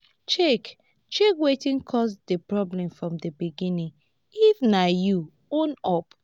check check wetin cause di problem from di begining if na you own up